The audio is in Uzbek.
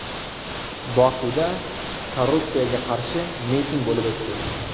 Bokuda korrupsiyaga qarshi miting bo‘lib o‘tdi.